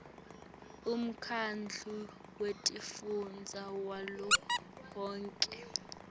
umkhandlu wetifundza wavelonkhe